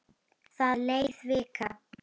Það leið vika.